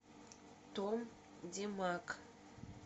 том демак